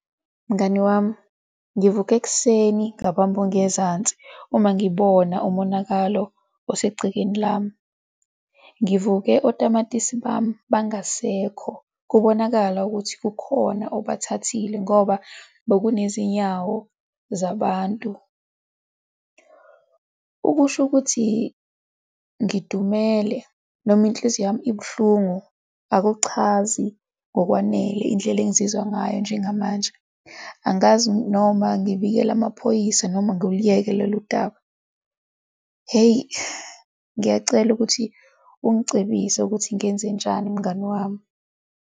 Mngani wami, ngivuke ekuseni ngabamba ongezansi uma ngibona umonakalo osegcekeni lami. Ngivuke otamatisi bami bangasekho, kubonakala ukuthi kukhona obathathile ngoba bekunezinyawo zabantu. Ukusho ukuthi ngidumele noma inhliziyo yami ibuhlungu, akuchazi ngokwanele indlela engizizwa ngayo njengamanje, angazi noma ngibikele amaphoyisa noma ngiluyeke lolu daba. Hheyi, ngiyacela ukuthi ungicebise ukuthi ngenzenjani mngani wami.